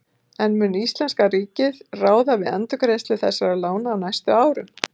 En mun íslenska ríkið ráða við endurgreiðslu þessara lána á næstu árum?